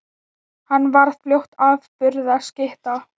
Hann varð fljótt afburða skytta.